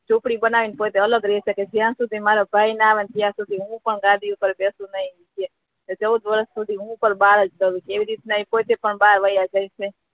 ઝોપડી બનાવીને અલગ રહીશ હુ પણ જ્યા સુધી મારો ભાઈ ના આવે ત્યા સુધી હુ આ ગાદી ઉપર બેઠીસ નહી ચોઉદ વષૅ સુધી હુ પણ બાહર જ રહીશ